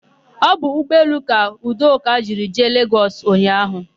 Ọ bụ ụgbọelu ka Udoka jiri jee Legọs ụnyaahụ.